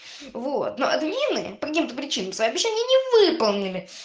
вот ну админы по каким-то причинам свои обещания не выполнили